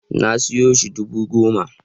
Na siyo shi dubu goma